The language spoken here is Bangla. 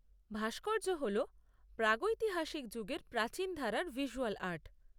ভাস্কর্য হল প্রাগৈতিহাসিক যুগের প্রাচীন ধারার ভিজ্যুয়াল আর্ট।